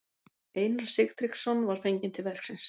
Einar Sigtryggsson var fenginn til verksins.